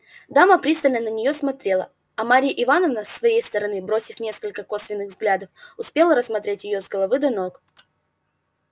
дама пристально на неё смотрела а марья ивановна с своей стороны бросив несколько косвенных взглядов успела рассмотреть её с ног до головы